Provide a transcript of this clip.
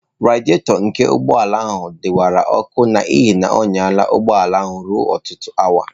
Radịatọ nke ụgbọ ala ahụ dawara ọkụ n'ihi na ọ nyala ụgbọ ala ruo ọtụtụ awa.